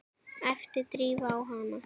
æpti Drífa á hana.